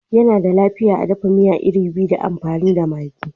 Yana da lafiya a dafa miya iru fiye da amfani da maggi